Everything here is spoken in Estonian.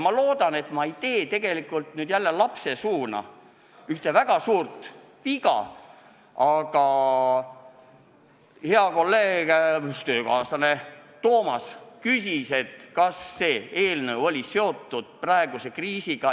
Ma loodan, et ma ei tee nüüd lapsesuuga kõneldes ühte väga suurt viga, aga hea kolleeg, töökaaslane Toomas küsis, kas see eelnõu oli seotud praeguse kriisiga.